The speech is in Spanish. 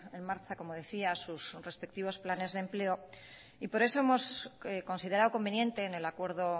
en marcha como decía sus respectivos planes de empleo y por eso hemos considerado conveniente en el acuerdo